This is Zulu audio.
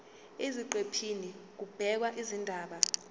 eziqephini kubhekwe izindaba